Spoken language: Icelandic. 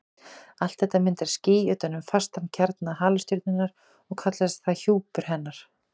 Allt þetta myndar ský utan um fastan kjarna halastjörnunnar og kallast það hjúpur hennar.